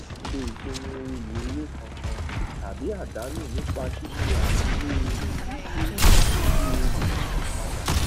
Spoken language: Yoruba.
ṣe ìpinu oye èrè kànkan tàbí àdánú nípa sísé àfiwé oye gbígbé sí ti oye ìràpadà